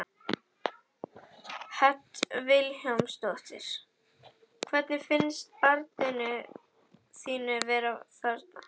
Hödd Vilhjálmsdóttir: Hvernig finnst barninu þínu að vera þarna?